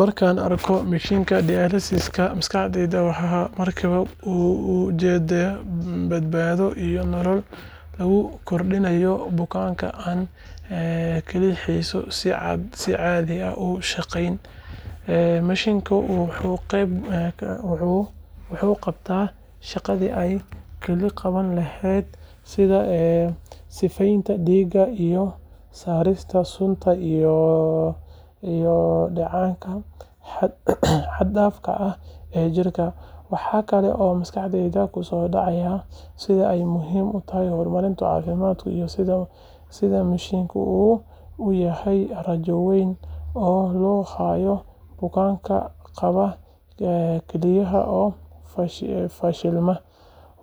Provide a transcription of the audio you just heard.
Markaan arko mashiinka dialysis-ka, maskaxdayda waxay markiiba u jeeddaa badbaado iyo nolol lagu kordhiyay bukaan aan kelyihiisu si caadi ah u shaqayn. Mashiinkani wuxuu qabtaa shaqadii ay kelyaha qaban lahaayeen sida sifeynta dhiigga iyo saarista sunta iyo dheecaannada xad-dhaafka ah ee jirka. Waxa kale oo maskaxdayda ku soo dhacaya sida ay muhiim u tahay horumarka caafimaadku iyo sida mashiinkani uu u yahay rajo weyn oo loo hayo bukaanka qaba kelyaha oo fashilmay.